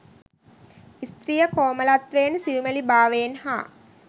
ස්ත්‍රිය කෝමළත්වයෙන් සියුමැලිභාවයෙන් හා